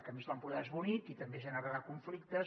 a més l’empordà és bonic i també generarà conflictes